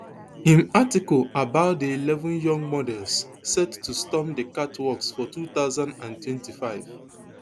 im article about di eleven young models set to storm di catwalks for two thousand and twenty-five